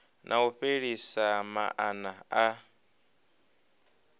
na u fhelisa maana a